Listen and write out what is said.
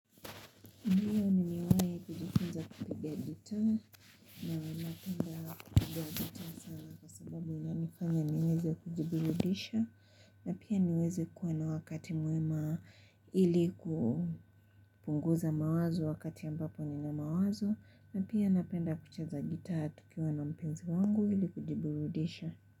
Ndio nimewahi kujifunza kupiga gitaa na napenda kupiga gitaa sana kwa sababu inanifanya niweze kujibirudisha. Na pia niweze kuwa na wakati mwema ili kupunguza mawazo wakati ambapo nina mawazo. Na pia napenda kucheza gitaa tukiwa na mpenzi wangu ili kujibirudisha.